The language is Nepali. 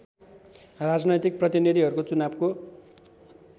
राजनैतिक प्रतिनीधिहरूको चुनावको